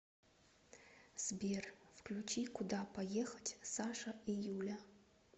сбер включи куда поехать саша и юля